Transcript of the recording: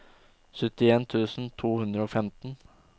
syttien tusen to hundre og femten